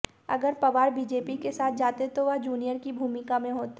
अगर पवार बीजेपी के साथ जाते तो वह जूनियर की भूमिका में होते